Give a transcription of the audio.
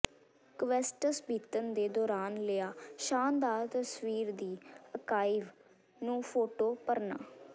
quests ਬੀਤਣ ਦੇ ਦੌਰਾਨ ਲਿਆ ਸ਼ਾਨਦਾਰ ਤਸਵੀਰ ਦੀ ਅਕਾਇਵ ਨੂੰ ਫੋਟੋ ਭਰਨਾ